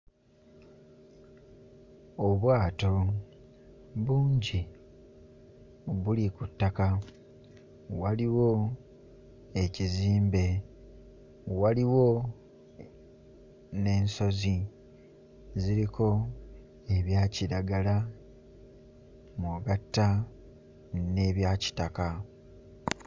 Obwato bungi buli ku ttaka, waliwo ekizimbe, waliwo n'ensozi ziriko ebya kiragala mw'ogatta n'ebya kitaka.